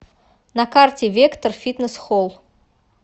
на карте вектор фитнес холл